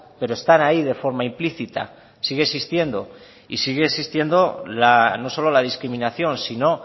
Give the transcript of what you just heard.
pero están ahí de forma implícita sigue existiendo y sigue existinedo no solo la discriminación sino